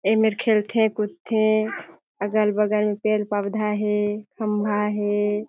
एमेर खेलथे कूदथे अगल-बगल पेड़-पवधा हे खम्भा हे।